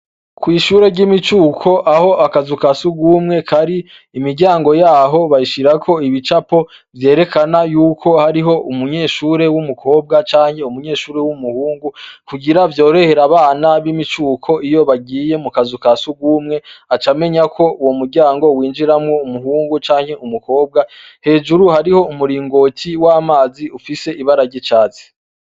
Kw'ishure ry'imicuko aho akazu ka sugumwe k ari imiryango yaho bayishirako ibicapo vyerekana yuko hariho umunyeshure w'umukobwa canke umunyeshuri w'umuhungu kugira vyorehera abana b'imicuko iyo bagiye mu kazu ka sugumwe aca amenya ko uwo muryango winjiramwo umuhungu canke n umukobwa hejuru hariho umuringoki w'amazi ufise ibara ry'icazi.